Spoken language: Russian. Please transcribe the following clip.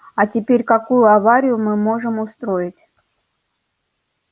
а теперь какую аварию мы можем устроить